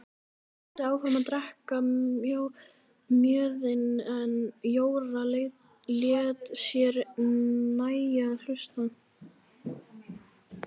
Þeir héldu áfram að drekka mjöðinn en Jóra lét sér nægja að hlusta.